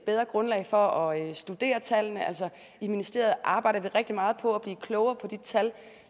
bedre grundlag for at studere tallene i ministeriet arbejder vi rigtig meget på at blive klogere på de tal